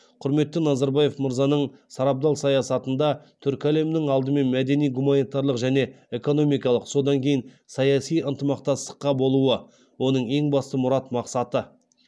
құрметті назарбаев мырзаның сарабдал саясатында түркі әлемінің алдымен мәдени гуманитарлық және экономикалық содан кейін саяси ынтымақтастықта болуы оның ең басты мұрат мақсаты